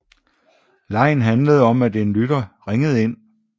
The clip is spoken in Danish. Legen handlede om at en lytter ringede ind